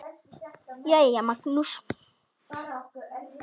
Jæja, Magnús.